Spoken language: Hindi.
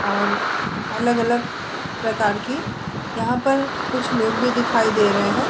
और अलग-अलग प्रकार की यहाँ पर कुछ लोग भी दिखाई दे रहे है ।